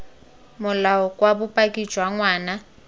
molao kwa bopaki jwa ngwana